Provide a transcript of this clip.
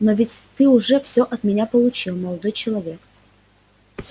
но ведь ты уже всё от меня получил молодой человек